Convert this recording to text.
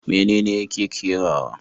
Menene yake kerawa?